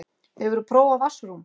Hefurðu prófað vatnsrúm?